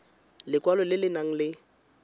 lekwalo le le nang le